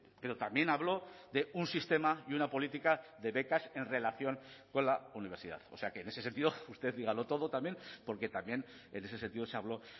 pero también habló de un sistema y una política de becas en relación con la universidad o sea que en ese sentido usted dígalo todo también porque también en ese sentido se habló